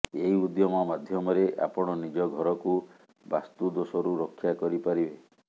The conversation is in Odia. ଏହି ଉଦ୍ୟମ ମାଧ୍ୟମରେ ଆପଣ ନିଜ ଘରକୁ ବାସ୍ତୁ ଦୋଷରୁ ରକ୍ଷା କରିପାରିବେ